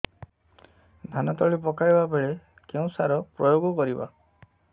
ଧାନ ତଳି ପକାଇବା ବେଳେ କେଉଁ ସାର ପ୍ରୟୋଗ କରିବା